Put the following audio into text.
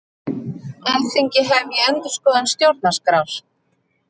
Alþingi hefji endurskoðun stjórnarskrár